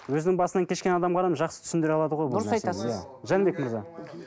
өзінің басынан кешкен адам ғана жақсы түсіндіре алады ғой дұрыс айтасыз жәнібек мырза